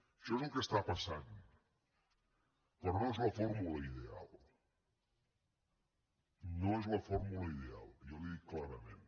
això és el que està passant però no és la fórmula ideal no és la fórmula ideal jo li ho dic clarament